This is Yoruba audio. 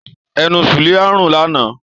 Ẹnu Suliat ń rùn lánàá.